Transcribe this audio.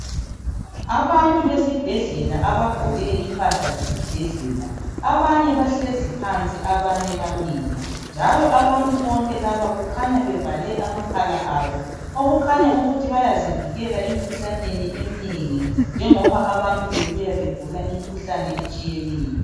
Abantu besibhedlela abagqoke impahla zesibhedlela. Abanye bahlezi phansi abanye bamile njalo abantu bonke labo kukhanya bevale amakhala abo okukhanya ukuthi bayazivikela emikhuhlaneni njengoba abantu bebuya begula imikhuhlane etshiyeneyo.